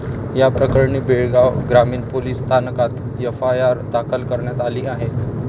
या प्रकरणी बेळगाव ग्रामीण पोलीस स्थानकात एफआयआर दाखल करण्यात आली आहे.